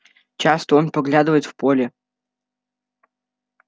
часто он поглядывает в поле